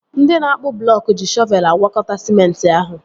Ndị na-akpụ blọọk ji shọvelu agwakọta sịmenti ahụ